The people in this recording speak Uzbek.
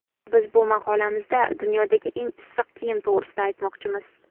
Biz bu maqolamizda dunyodagi eng issiq kiyim to‘g‘risida aytmoqchimiz.